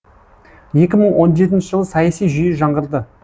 екі мың он жетінші жылы саяси жүйе жаңғырды